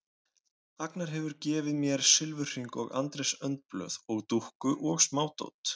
Agnar hefur gefið mér silfurhring og Andrés önd blöð og dúkku og smádót.